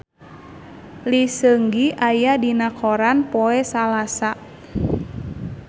Lee Seung Gi aya dina koran poe Salasa